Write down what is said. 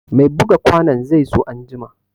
Mai buga kwanon zai zo an jima